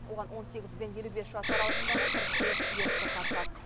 оған он сегіз бен елу бес жас аралығындағы қырық бес ерікті қатысады